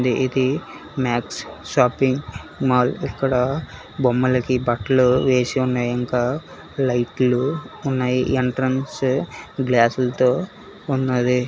ఇది Max shopping mall ఇక్కడ బొమ్మలకి బట్లు వేసి ఉన్నాయి ఇంకా లైట్లు ఉన్నాయి ఎంట్రన్స్ గ్లాసులతో ఉన్నది.